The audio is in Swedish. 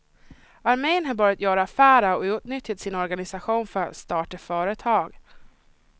Armén har börjat göra affärer och utnyttjat sin organisation för att starta företag.